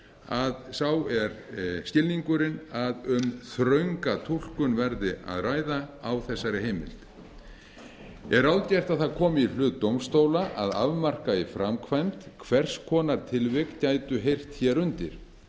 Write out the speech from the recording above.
að sá er skilningurinn að um þrönga túlkun verði að ræða á þessari heimild er ráðgert að það komi í hlut dómstóla að afmarka í framkvæmd hvers konar tilvik gætu heyrt hér undir